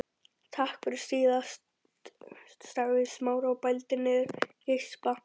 Takk fyrir síðast sagði Smári og bældi niður geispa.